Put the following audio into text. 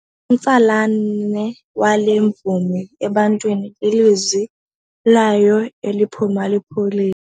Umtsalane wale mvumi ebantwini lilizwi layo eliphuma lipholile.